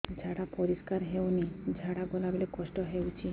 ଝାଡା ପରିସ୍କାର ହେଉନି ଝାଡ଼ା ଗଲା ବେଳେ କଷ୍ଟ ହେଉଚି